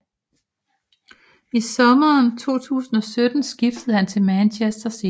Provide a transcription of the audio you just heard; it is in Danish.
I sommeren 2017 skiftede han til Manchester City